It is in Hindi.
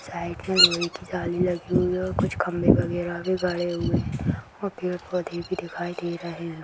साइड में लोहे की जाली लगी हुई हैं और कुछ खंभे वगैरा भी गड़े हुए हैं और पेड़-पौधे भी दिखाई दे रहे हैं।